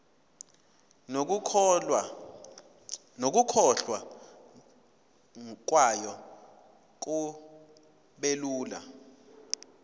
nokukhokhwa kwayo kubelula